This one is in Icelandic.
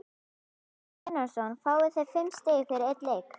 Hafþór Gunnarsson: Fáið þið fimm stig fyrir einn leik?